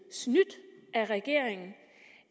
er af regeringen